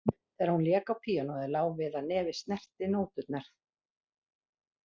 Þegar hún lék á píanóið lá við að nefið snerti nóturnar